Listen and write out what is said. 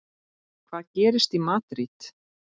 Hvað gerist í Madríd?